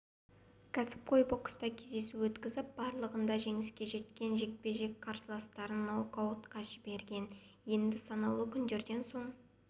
кәсіпқой бокста кездесу өткізіп барлығында жеңіске жеткен жекпе-жекте қарсыластарын нокаутқа жіберген енді санаулы күндерден соң